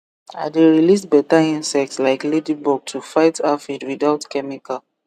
i dey release better insect like ladybug to fight aphid without chemical